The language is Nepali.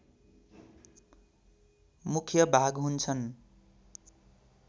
मुख्य भाग हुन्छन्